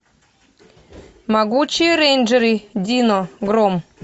могучие рейнджеры дино гром